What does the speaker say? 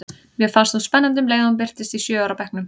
Mér fannst hún spennandi um leið og hún birtist í sjö ára bekknum.